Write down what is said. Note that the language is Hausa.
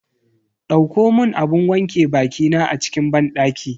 Dauko mun abun wanke bakina a cikin banɗaki.